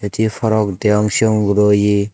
te parong deong sion guro ye.